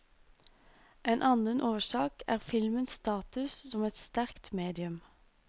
En annen årsak er filmens status som et sterkt medium.